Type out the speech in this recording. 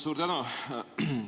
Suur tänu!